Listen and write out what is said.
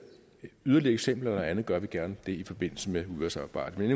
yderligere eksempler og andet gør vi det gerne i forbindelse med udvalgsarbejdet men